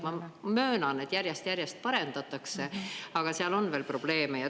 Ma möönan, et järjest-järjest parendatakse, aga seal on veel probleeme.